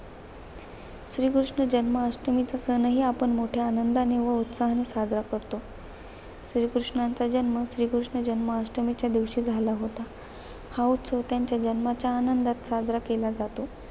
श्रीकृष्ण जन्माष्टमीचा सणही आपण मोठ्या आनंदाने व उत्साहाने साजरा करतो. श्रीकृष्णाचा जन्म, श्रीकृष्ण जन्माष्टमीच्या दिवशी झाला होता. हा उत्सव त्यांच्या जन्माच्या आनंदात साजरा केला जातो.